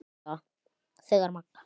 Þegar Magga